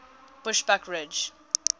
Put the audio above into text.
bushbuckridge